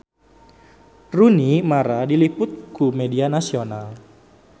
Rooney Mara diliput ku media nasional